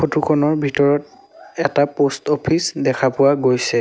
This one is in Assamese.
ফটোখনৰ ভিতৰত এটা পোষ্ট অফিচ দেখা পোৱা গৈছে।